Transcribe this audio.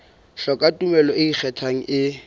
hloka tumello e ikgethang e